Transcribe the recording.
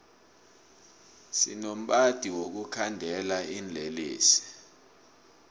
sinombadi wokukhandela tinlelesi